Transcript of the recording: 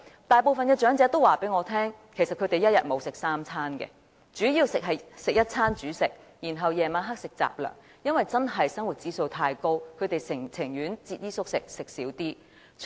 大部分長者向我反映，其實他們一天沒有吃足三餐，主要是吃一餐主食，然後晚上吃雜糧，因為生活指數實在太高，他們情願節衣縮食。